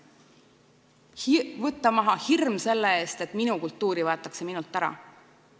Tuleb võtta maha hirm selle ees, et minu kultuur võetakse minult ära.